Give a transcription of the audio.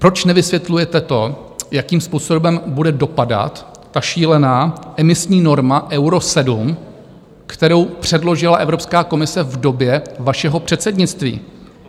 Proč nevysvětlujete to, jakým způsobem bude dopadat ta šílená emisní norma Euro 7, kterou předložila Evropská komise v době vašeho předsednictví?